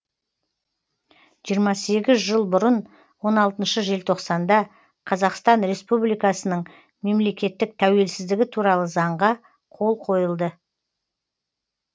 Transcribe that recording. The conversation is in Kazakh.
жиырма сегіз жыл бұрын он алтыншы желтоқсанда қазақстан республикасының мемлекеттік тәуелсіздігі туралы заңға қол қойылды